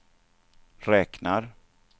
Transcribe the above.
räknar